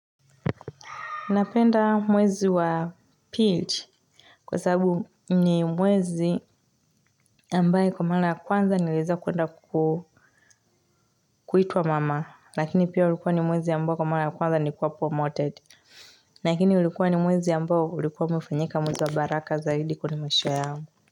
Napenda mwezi wa pili kwa sababu ni mwezi ambaye kwa mara ya kwanza nilieza kuenda kuitwa mama lakini pia ulikuwa ni mwezi ambayo kwa mara ya kwanza nilikuwa promoted lakini ulikuwa ni mwezi ambao ulikuwa umefanyika mwezi wa baraka zaidi kwenye maisha yangu.